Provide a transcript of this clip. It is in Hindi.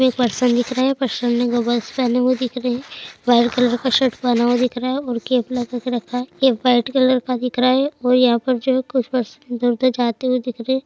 दो पर्सन दिख रहे है पर्सन ने गॉगल्स पहने हुए दिख रहे है व्हाइट कलर का शर्ट पहना हुआ दिख रहा है और केप लगाके रखा है केप कलर का दिख रहा है और यहाँ पर जो कुछ पर्सन इधर उधर जाते दिख रहे हैं।